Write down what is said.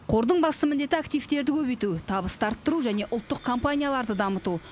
қордың басты міндеті активтерді көбейту табысты арттыру және ұлттық компанияларды дамыту